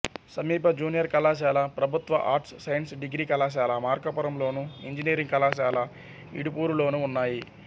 సమీప జూనియర్ కళాశాల ప్రభుత్వ ఆర్ట్స్ సైన్స్ డిగ్రీ కళాశాల మార్కాపురంలోను ఇంజనీరింగ్ కళాశాల ఇడుపూరులోనూ ఉన్నాయి